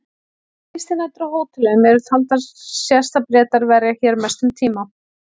Ef gistinætur á hótelum eru taldar sést að Bretar verja hér mestum tíma.